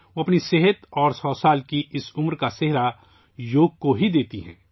وہ اپنی صحت اور اس 100 سال کی عمر کا سہرا صرف یوگا کو دیتی ہیں